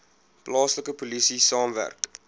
plaaslike polisie saamwerk